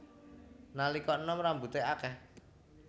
Nalika enom rambuté akèh